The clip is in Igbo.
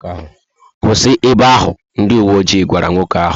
Kwụsị ébé áhù!, ndị uwe ojii gwara nwoke áhù